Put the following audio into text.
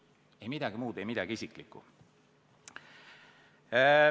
Ei midagi muud, ei midagi isiklikku.